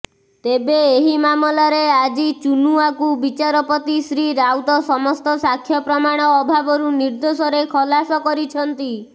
ତେବେ ଏହି ମାମଲାରେ ଆଜି ଚୁନୁଆକୁ ବିଚାରପତି ଶ୍ରୀ ରାଉତ ସମସ୍ତ ସାକ୍ଷ୍ୟପ୍ରମାଣ ଅଭାବରୁ ନିର୍ଦ୍ଦୋଷରେ ଖଲାସ କରିଛନ୍ତି